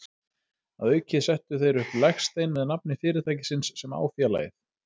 Að auki settu þeir upp legstein með nafni fyrirtækisins sem á félagið.